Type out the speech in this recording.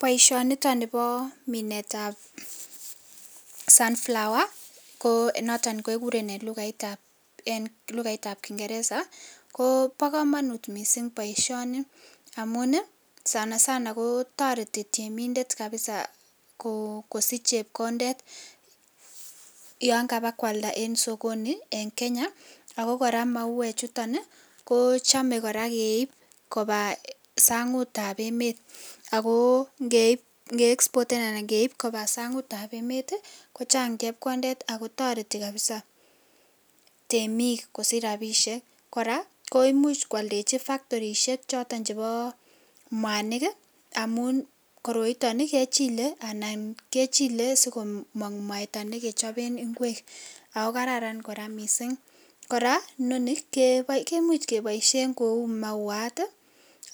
Baishoniton Nebo Minet tab sunflower notok keguren en Lugait tab kingeresa ki Bo komonut mising boishoni amun Sana Sana kotareti temindet kabisa kosiche chepkondet yoh kabakwalda en sokoni en Kenya ako kora mauwechuton ko chome kora keib Koba sangut tab emet ako nge exporten Alan ngeib Koba sangut tab emet ko Chang chepkondet kabisa en temik kosich rabishek komuch kwaldechi factory chobo mwanik amun koroiton kechile asigomong mwaita negechoben inguek ako kararan kora mising kora Noni kemuch keiboishen Kou mauwat